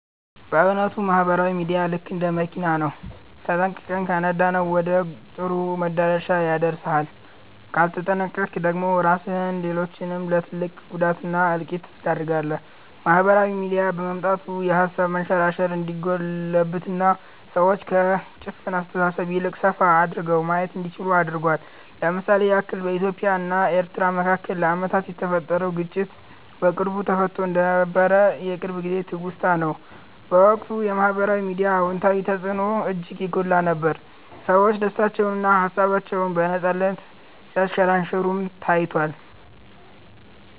በ እዉነቱ ማህበራዊ ሚዲያ ልክ እንደ መኪና ነው፤ ተጠንቅቀህ ከነዳኀው ወደ ጥሩ መዳረሻ ያደርስሃል ካልተጠነቅቀክ ደግሞ ራስህንም ሌሎችንም ለ ትልቅ ጉዳት እና እልቂት ትዳርጋለህ። ማህበራዊ ሚዲያ በመምጣቱ የሃሳብ መንሸራሸር እንዲጎለብትና ሰዎች ከ ጭፍን አስተሳሰብ ይልቅ ሰፋ አድርገው ማየት እንዲችሉ አድርጓል። ለ ምሳሌ ያክል በኢትዮጵያ እና ኤርትራ መካከል ለአመታት የተፈጠረውን ግጭት በቅርቡ ተፈትቶ እንደነበር የቅርብ ጊዜ ትውስታ ነው። በወቅቱ የ ማህበራዊ ሚዲያ አወንታዊ ተፅዕኖ እጅግ የጎላ ነበር፤ ሰዎች ደስታቸውንና ሃሳባቸውን በነፃነት ሲያንሸራሽሩም ታይቷል።